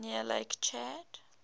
near lake chad